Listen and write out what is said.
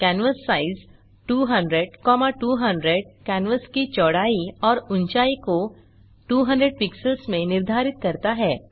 canvas size 200200 canvas की चौड़ाई और ऊंचाई को 200 पिक्सेल्स में निर्धारित करता है